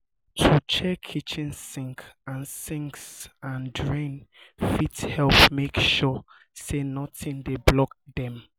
to check kitchen sinks and sinks and drains fit help make sure say nothing dey block dem